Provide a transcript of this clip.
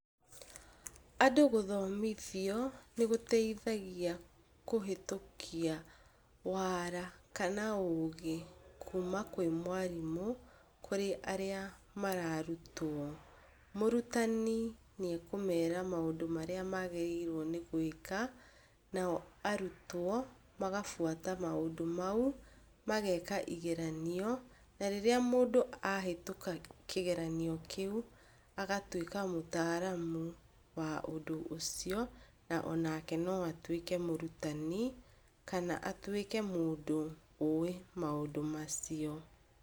Andũ gũthomithio nĩ gũteithagia kũhĩtũkia wara kana ũgĩ kuma kwĩ mwarimũ kũrĩ arĩa mararutwo. Mũrutani nĩ ekũmera maũndũ marĩa magĩrĩirwo nĩ gwĩka, nao arutwo magabuata maũndũ mau. Mageka igeranio, na rĩrĩa mũndũ ahĩtũka kĩgeranio kĩu agatuĩka mũtaaramu wa ũndũ ũcio, na onake no atuĩke mũrutani kana atuĩke mũndũ ũĩ maũndũ macio.